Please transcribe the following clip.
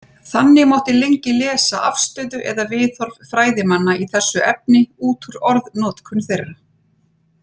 Þannig mátti lengi lesa afstöðu eða viðhorf fræðimanna í þessu efni út úr orðnotkun þeirra.